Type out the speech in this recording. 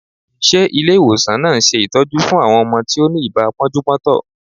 Ṣe Ilé ìwòsàn náà ń ṣe ìtọ́jú fún àwọn ọmọ tí ó ni ibà pọ́njú-pọ́ntọ̀?